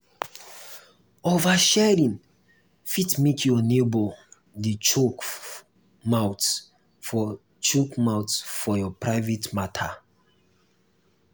oversharing fit make your neighbour dey chook mouth for chook mouth for your private matter